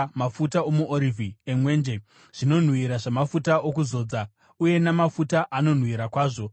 mafuta omuorivhi emwenje; zvinonhuhwira zvamafuta okuzodza uye namafuta anonhuhwira kwazvo;